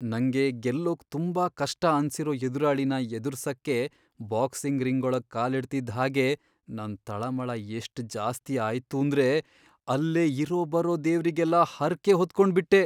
ನಂಗೆ ಗೆಲ್ಲೋಕ್ ತುಂಬಾ ಕಷ್ಟ ಅನ್ಸಿರೋ ಎದುರಾಳಿನ ಎದುರ್ಸಕ್ಕೆ ಬಾಕ್ಸಿಂಗ್ ರಿಂಗೊಳಗ್ ಕಾಲಿಡ್ತಿದ್ಹಾಗೇ ನನ್ ತಳಮಳ ಎಷ್ಟ್ ಜಾಸ್ತಿ ಆಯ್ತೂಂದ್ರೆ ಅಲ್ಲೇ ಇರೋಬರೋ ದೇವ್ರಿಗೆಲ್ಲ ಹರ್ಕೆ ಹೊತ್ಕೊಂಬಿಟ್ಟೆ.